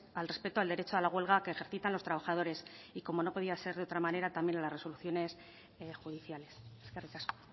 al respeto al derecho a la huelga que ejercitan los trabajadores y como no podía ser otra manera también a las resoluciones judiciales eskerrik asko